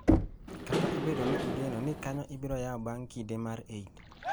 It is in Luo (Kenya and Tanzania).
kata obedo ni ne igeno ni kanyo ibiro yaw bang’ kinde mar Eid.